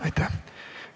Aitäh!